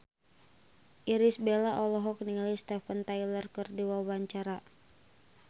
Irish Bella olohok ningali Steven Tyler keur diwawancara